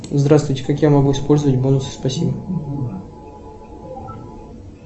здравствуйте как я могу использовать бонусы спасибо